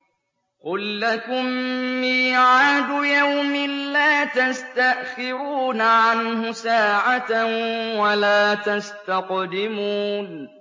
قُل لَّكُم مِّيعَادُ يَوْمٍ لَّا تَسْتَأْخِرُونَ عَنْهُ سَاعَةً وَلَا تَسْتَقْدِمُونَ